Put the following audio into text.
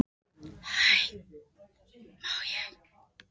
Kristján Már Unnarsson: Við þessar aðstæður að fá svona skilaboð?